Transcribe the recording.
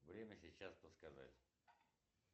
время сейчас подсказать